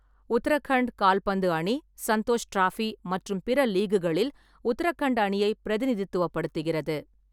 உத்தரகண்ட் கால்பந்து அணி சந்தோஷ் டிராபி மற்றும் பிற லீக்குகளில் உத்தரகண்ட் அணியை பிரதிநிதித்துவப்படுத்துகிறது.